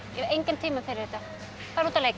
hef engan tíma fyrir þetta farðu út að leika